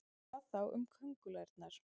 Hvað þá um köngulærnar?